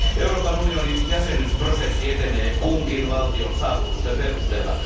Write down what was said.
Euroopan unionin jäsenyysprosessi etenee kunkin valtion saavutusten perusteella.